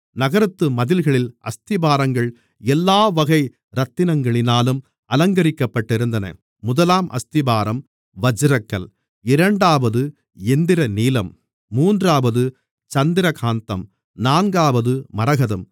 நகரத்து மதில்களின் அஸ்திபாரங்கள் எல்லாவகை இரத்தினங்களினாலும் அலங்கரிக்கப்பட்டிருந்தன முதலாம் அஸ்திபாரம் வச்சிரக்கல் இரண்டாவது இந்திரநீலம் மூன்றாவது சந்திரகாந்தம் நான்காவது மரகதம்